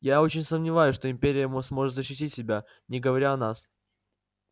я очень сомневаюсь что империя сможет защитить себя не говоря о нас